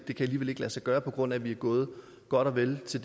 det kan alligevel ikke lade sig gøre på grund af at man er gået godt og vel så